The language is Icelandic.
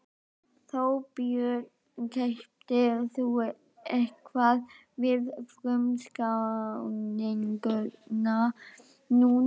Þorbjörn: Keyptir þú eitthvað við frumskráninguna núna?